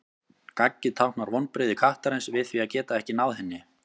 Gaggið táknar vonbrigði kattarins við því að geta ekki náð henni.